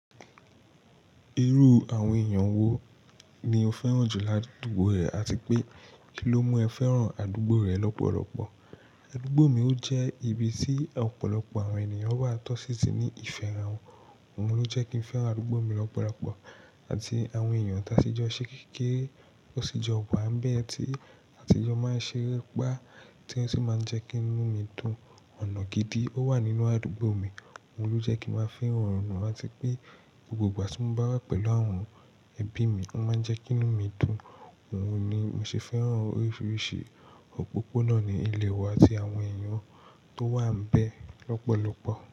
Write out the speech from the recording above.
Irú àwọn èèyàn wo ni o fẹ́ràn jù lá àdúgbò rẹ àti pé kí ló mu ẹ fẹ́ràn àdúgbò rẹ lọ́pọ̀lọpọ̀? Àdúgbò mi ó jẹ́ ibi tí ọ̀pọ̀lọpọ̀ àwọn ènìyàn wà tọ́sí tí ní ìfẹ́ ara wọn, òun ló jẹ́ kí n fẹ́ràn àdúgbò mi lọ́pọ̀lọpọ̀. Àti àwọn èèyàn ta sì jọ ṣẹ́ kekére, ó sì jọ wà n bẹ̀ tí àtijọ́ máa ń ṣeré pa tí wọ́n sì máa ń jẹ́ kí inú mi dùn. Ọ̀nà gidi ó wà nínú àdúgbò mi, òun ló jẹ́ kí n máa fẹ́ran òun, àti pé gbogbo ìgbà tí mo bá wà pẹ̀lú àwọn ẹbí mi, ó máa ń jẹ́ kí inú mi dùn. Òun ni mo ṣe fẹ́ràn oríṣiríṣi òpópónà ní ilé wa àti àwọn èèyàn tó wà n bẹ̀ lọ́pọ̀lọpọ̀.